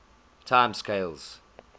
time scales